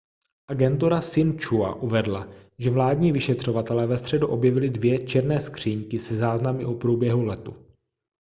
agentura sin-chua uvedla že vládní vyšetřovatelé ve středu objevili dvě černé skříňky se záznamy o průběhu letu